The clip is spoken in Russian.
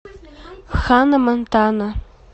ханна монтана